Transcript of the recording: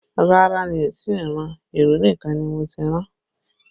Rárá mi ò tí ì ran, ìró nìkan ni mo ti rán